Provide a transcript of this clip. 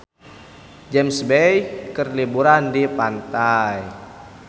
James Bay keur liburan di pantai